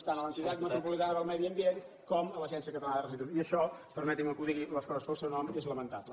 tant a l’entitat metropolitana del medi ambient com a l’agència catalana de residus i això permetin me que ho digui les coses pel seu nom és lamentable